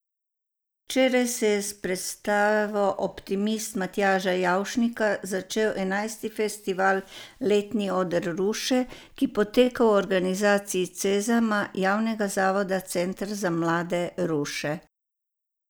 Včeraj se je s predstavo Optimist Matjaža Javšnika začel enajsti festival Letni oder Ruše, ki poteka v organizaciji Cezama, javnega zavoda Center za mlade Ruše.